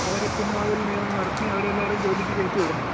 അവര് പിൻവാതിൽ നിയമനം നടത്തി അവരെല്ലാരേം ജോലിക്ക് കയറ്റി വിടുന്നത്.